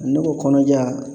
Ne ko kɔnɔja